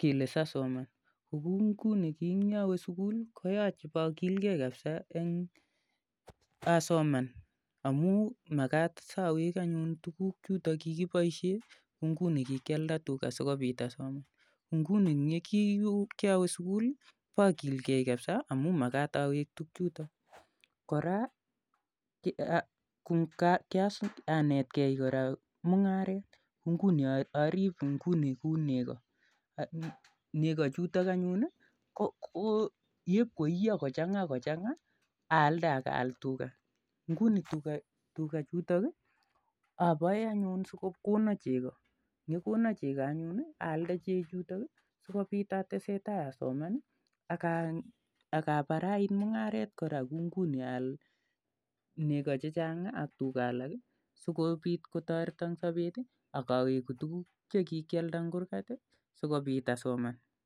kele si asoman. Kou nguni ki eng' yekawe sukul koyache ipakilgei asoman amu makat si awek anyun tuguk che kipaishe kou nguni kikialda tuga asikopit asoman . Kiawe sukul ipakilgei kapisa amu makat awek tugchutok. Kora kianetgei mung'aret kou nguni arip nguni kou nego. Nego chutok anyun ko yep ko iya kochang'a aalde ak aal tuga. Nguni tuga chutok apae anyun si ko kona cheko. Ye kako kona cheko anyun i, aalde chehcutok si kopit atesetai asoman aka parait mung'aret kora kou nguni aal nego che chang' ak tuga alak asikopit kotareta eng' sapet ak aweku tuguuk che kikialda eng' kurgat asikopit asoman.